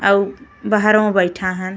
अउ बाहरवा बैठा हन।